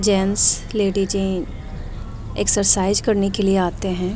Gents लेडीजें जी exercise करने के लिए आते हैं।